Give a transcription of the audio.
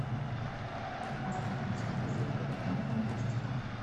поставь на телевизоре капитан фантастика